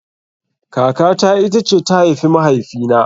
Kaka ta ita ce ta haifi mahaifi na